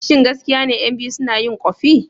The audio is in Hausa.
Shin gaskiya ne ƴan biyu suna yin ƙofi?